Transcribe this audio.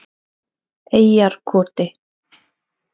Eyjarkoti